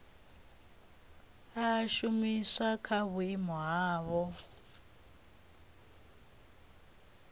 a shumiswa kha vhupo havho